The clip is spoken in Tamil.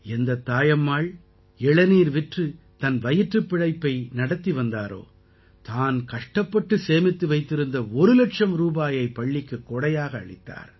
எந்தத் தாயம்மாள் இளநீர் விற்று தன் வயிற்றுப் பிழைப்பை நடத்தி வந்தாரோ தான் கஷ்டப்பட்டு சேமித்து வைத்திருந்த ஒரு இலட்சம் ரூபாயை பள்ளிக்குக் கொடையாக அளித்தார்